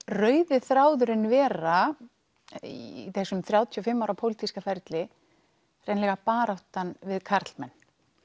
rauði þráðurinn vera í þessum þrjátíu og fimm ára pólitíska ferli hreinlega baráttan við karlmenn